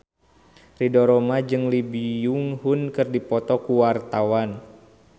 Ridho Roma jeung Lee Byung Hun keur dipoto ku wartawan